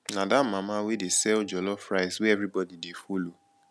na dat mama wey dey sell jollof rice wey everybody dey follow